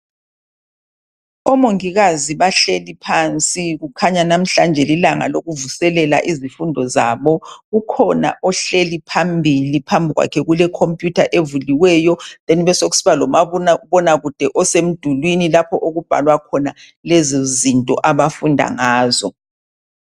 omongikazi bahleli phansi kukhanya namhlanje lilanga lokuvuselela iziundo zabo ukhona ohleli phambili phambi kwakhe kule computer evuliweyo then besekusiba lo mabonakude osemdulini lapho okubhalwa khona lezo zinto ezifundwa ngazo